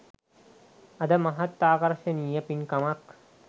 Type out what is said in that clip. අද මහත් ආකර්ශනීය පින්කමක්